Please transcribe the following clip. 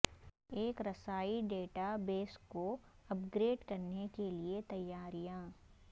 ایک رسائی database کو اپ گریڈ کرنے کے لئے تیاریاں